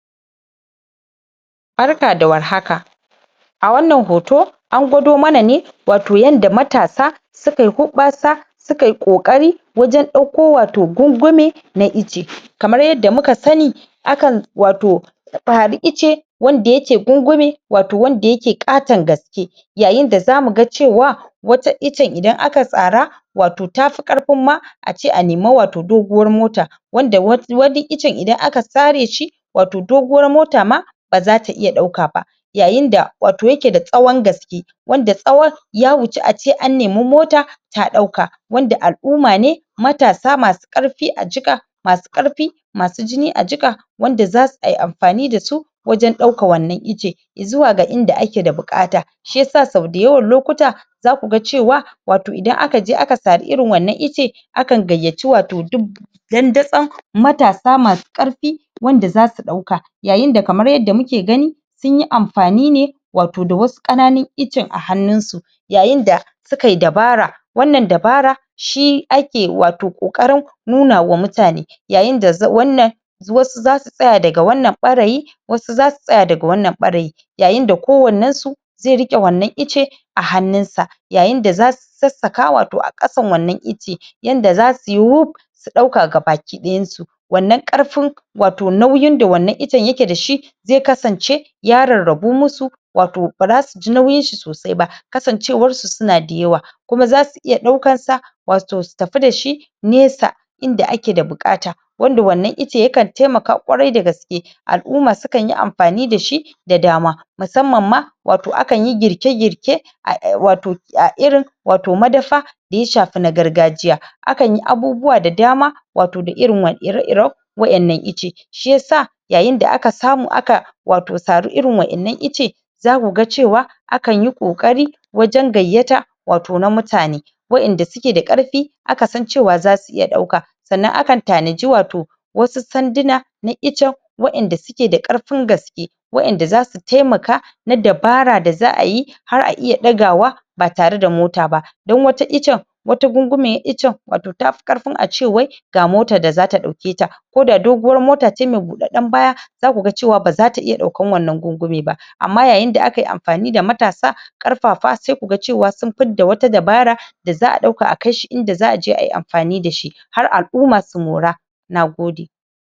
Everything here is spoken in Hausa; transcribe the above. Barka da warhaka a wannan hoto an gawado mana ne watau yanda matasa su kayi huɓɓasa sauka yi ƙoƙari wajen ɗauko watau gungume na icce. kamar yadda muka sani akan watau icce wanda yake gungume watauwanda yake ƙaton gaske yayin da zamu ga cewa wata iccen idan aka sara watau ta fi ƙarfin ma a ce a nemi watau doguwar mota wanda wani iccen idan aka sare shi watau doguwar mota ma baza ta iya ɗauka ba yayin da watau yake da tsawon gaske wanda tsawon ya wuce ace an nemi mota ta ɗauka wanda al'umma ne matasa masu ƙarfi a jika masu ƙarfi masu jini a jika wanda za a yi amfani da su wajen ɗaukan wannan icce zuwa ga inda ake da buƙata shiyasa sau dayawan lokuta zaku ga cewa watau idan aka je aka sari irin wannan icce akan gayyaci watau duk dandazon matasa masu ƙarfi wanda zasu ɗauka yayin da kamar yadda muke gani sun yi amfani ne watau da wasu ƙananun icce a hannun su yayin da suka yi dabara wannan dabara shi ake watau ƙoƙarin nunawa mutane yayin da wannan wasu zasu tsaya daga wannan ɓarayin wasu zasu tsaya daga wannan ɓarayin yayin da ko wannensu zai riƙe wannan icce a hannun sa yayin da zasu sassaka watau a ƙasan wannan icce yanda zasu yi wuf su ɗauka gabaki ɗayansu wannan ƙarfin watau nauyin da wannan iccen yake da shi zai kasance ya rarrabu musu watau bara su ji nauyin shi sosai ba kasancewar su suna da yawa kuma zasu iya ɗaukansa watau su tafi da shi nesa inda ake da buƙata wanda wannan icce yakan taimaka ƙwarai da gaske al'umma sukan yi amfani da shi da dama musamman ma watau akan yi girke-girke watau a irin watau madafa da ya shafi na gargajiya akan yi abubuwa da dama watau da ire-iren wa'innan icce shiyasa yayin da aka samu aka watau sari irin wa'innan icce zaku ga cewa akan yi ƙoƙari wajen gayyata watau na mutane wa'inda suke da ƙarfi aka san cewa zasu iya ɗauka sannan akan tanaji watau wasu sanduna na iccen wa'inda suke da ƙarfin gaske wa; inda zasu taimaka na dabara da za a yi har a iya ɗagawa ba tare da mota ba don wata iccen wata gungumen iccen watau tafi ƙarfin ace wai ga motar da zata ɗauke ta ko da doguwar mota ce mai buɗaɗɗen baya zaku ga cewa baza ta iya ɗaukan wannan gungume ba amma yayin da aka yi amfani da matasa ƙarfafa sai ku ga sun fidda wata dabara da za a ɗauka a kai shi idan za a je ayi amfani da shi har al'umma su mora. Nagode.